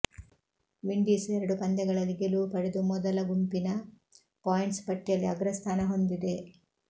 Windies ಎರಡು ಪಂದ್ಯಗಳಲ್ಲಿ ಗೆಲುವು ಪಡೆದು ಮೊದಲ ಗುಂಪಿನ ಪಾಯಿಂಟ್ಸ್ ಪಟ್ಟಿಯಲ್ಲಿ ಅಗ್ರಸ್ಥಾನ ಹೊಂದಿದೆ